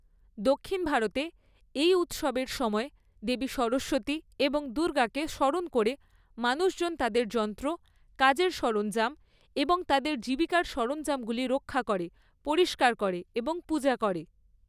দক্ষিণ ভারতে, এই উৎসবের সময় দেবী সরস্বতী এবং দুর্গাকে স্মরণ করে মানুষজন তাদের যন্ত্র, কাজের সরঞ্জাম এবং তাদের জীবিকার সরঞ্জামগুলি রক্ষা করে, পরিষ্কার করে এবং পূজা করে।